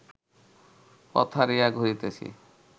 পথ হারাইয়া ঘুরিতেছি